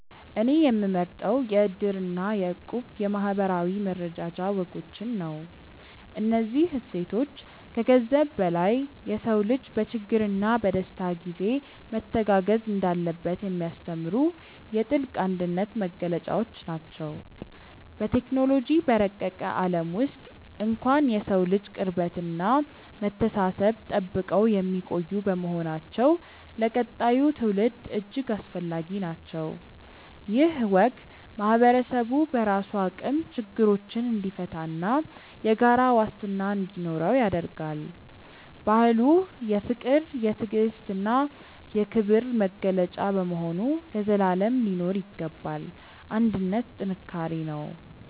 እኔ የምመርጠው የ"እድር" እና የ"እቁብ" የማኅበራዊ መረዳጃ ወጎችን ነው። እነዚህ እሴቶች ከገንዘብ በላይ የሰው ልጅ በችግርና በደስታ ጊዜ መተጋገዝ እንዳለበት የሚያስተምሩ የጥልቅ አንድነት መገለጫዎች ናቸው። በቴክኖሎጂ በረቀቀ ዓለም ውስጥ እንኳን የሰውን ልጅ ቅርበትና መተሳሰብ ጠብቀው የሚቆዩ በመሆናቸው ለቀጣዩ ትውልድ እጅግ አስፈላጊ ናቸው። ይህ ወግ ማኅበረሰቡ በራሱ አቅም ችግሮችን እንዲፈታና የጋራ ዋስትና እንዲኖረው ያደርጋል። ባህሉ የፍቅር፣ የትዕግስትና የክብር መገለጫ በመሆኑ ለዘላለም ሊኖር ይገባል። አንድነት ጥንካሬ ነው።